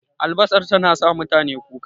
Albasar tana sa mutane kuka